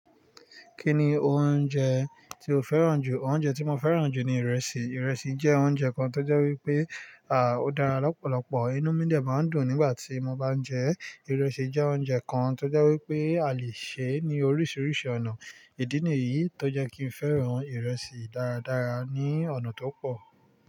Kí ni oúnjẹ tí o fẹ́ràn jù? Oúnjẹ tí mo fẹ́ràn jù ni ìrẹsì. Ìrẹsì jẹ́ oúnjẹ kan tó jẹ́ wípé, à, ó dára lọ́pọ̀lọpọ̀. Inú mi dẹ máa ń dùn nígbà tí mo bá ń jẹ ẹ́. Ìrẹsì jẹ́ oúnjẹ kan tó jẹ́ wípé a lè sè é ní oríṣiríṣi ọ̀nà. Ìdí nìyí tó jẹ́ kí n fẹ́ràn ìrẹsì dáradára ní ọ̀nà tó pọ̀.